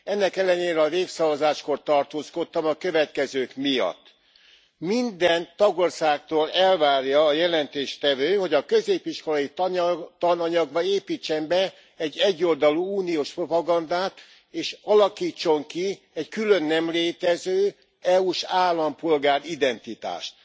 Ennek ellenére a népszavazáskor tartózkodtam a következők miatt minden tagországtól elvárja a jelentéstevő, hogy a középiskolai tananyagba építsen be egy egyoldalú uniós propagandát, és alakítson ki egy külön nem létező, EU s állampolgár identitást.